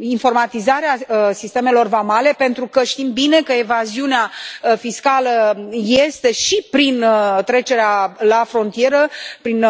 informatizarea sistemelor vamale, pentru că știm bine că evaziunea fiscală este și prin trecerea la frontieră, prin